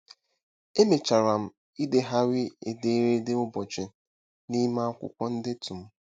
Emechara m idegharị ederede ụbọchị n'ime akwụkwọ ndetu m.